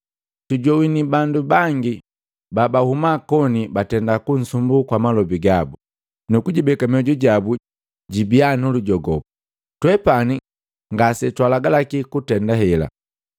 Tujowini bandu bangi babahuma koni batenda kunsumbu kwa malobi gabu, nukujibeka mioju jabu jibii nulujogopu. Twepani ngase twaalagalaki kutenda hela.